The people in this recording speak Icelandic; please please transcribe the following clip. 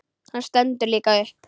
Hann stendur líka upp.